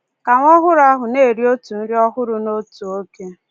Ka nwa ọhụrụ ahụ na-eri otu nri ọhụrụ n’otu oge.